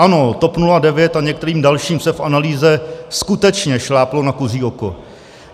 Ano, TOP 09 a některým dalším se v analýze skutečně šláplo na kuří oko.